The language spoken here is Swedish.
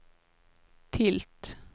tilt